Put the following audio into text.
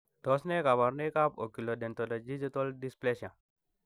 Tos nee koborunoikab Oculodentodigital dysplasia?